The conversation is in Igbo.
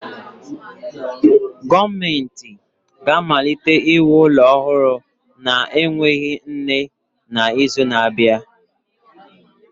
Gọọmentị ga-amalite iwu ụlọ ọhụrụ na-enweghị nne n'izu na-abịa.